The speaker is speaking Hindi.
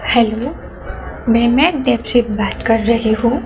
हेलो मैं बात कर रही हूं।